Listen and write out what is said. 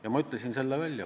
Ja ma ütlesin selle välja.